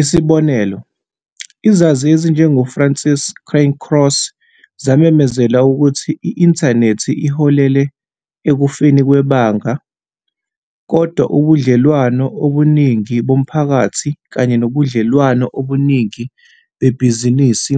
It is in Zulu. Isibonelo, izazi ezinjengoFrances Cairncross zamemezela ukuthi I-inthanethi iholele "ekufeni kwebanga", kodwa ubudlelwano obuningi bomphakathi kanye nobudlelwano obuningi bebhizinisi